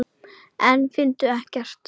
En fundu ekkert.